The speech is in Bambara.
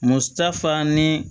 Muso ta fan ni